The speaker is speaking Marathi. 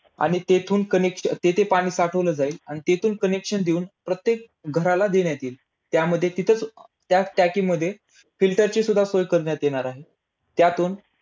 आणि तिथून अं connec अं तिथे पाणी पाठवलं जाईल आणि तिथून connection देऊन प्रत्येक घराला देण्यात येईल. त्यामध्ये तिथेच अं त्याच टाकीमध्ये filter ची सुद्धा सोय करण्यात येणार आहे. त्यातून